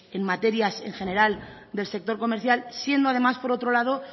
en materias en general del sector comercial siendo además por otro lado